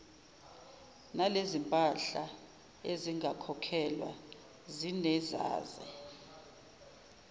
nalezompahla ezingakhokhelwa zinezaze